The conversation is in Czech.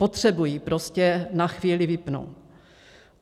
Potřebují prostě na chvíli vypnout.